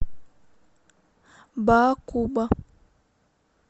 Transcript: баакуба